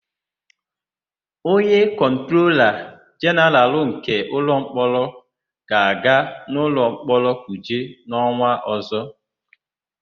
Onye Kọntrola Jenaralụ nke Ụlọmkpọrọ ga-aga ụlọmkpọrọ Kuje n'ọnwa ọ̀zọ́.